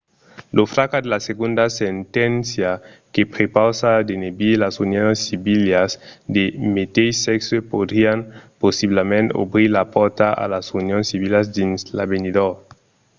lo fracàs de la segonda senténcia que prepausa d'enebir las unions civilas de meteis sèxe podrián possiblament obrir la pòrta a las unions civilas dins l'avenidor